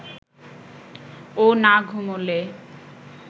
ও না ঘুমোলে